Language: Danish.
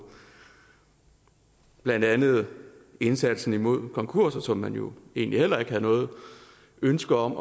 blandt andet også indsatsen mod konkurser som man jo egentlig heller ikke havde noget ønske om